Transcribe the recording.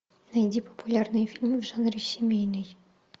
найди популярные фильмы в жанре семейный